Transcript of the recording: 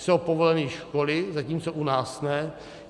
Jsou povoleny školy, zatímco u nás ne.